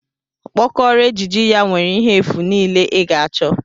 Okpokoro ejiji ya nwere ihe efu niile ị ga-achọ